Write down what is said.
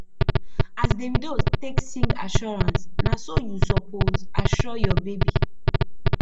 as davido take sing assurance na so yu suppose assure yur baby